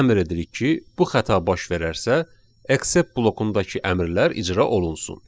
Və əmr edirik ki, bu xəta baş verərsə, except blokundakı əmrlər icra olunsun.